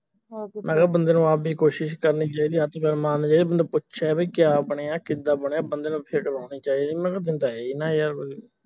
ਮੈਂ ਕਿਹਾ ਬੰਦੇ ਨੂੰ ਆਪ ਵੀ ਕੋਸ਼ਿਸ਼ ਕਰਨੀ ਚਾਹੀਦੀ ਹੱਥ ਪੈਰ ਮਾਰਨੇ ਚਾਹੀਦੇ ਬੰਦਾ ਪੁੱਛੇ ਬਈ ਕਿਆ ਬਨਿਆ ਕਿਦਾ ਬਣਿਆ ਬੰਦੇ ਨੂੰ ਅੜਾਉਣੀ ਚਾਹੀਦੀ ਮੈਂ ਕਿਹਾ ਬੰਦਾ ਹੈ ਹੀ ਨਾਂ ਇਹ